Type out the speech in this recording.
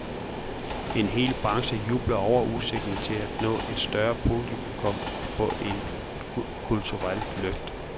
En hel branche jubler over udsigten til at nå et større publikum og få et kulturelt løft.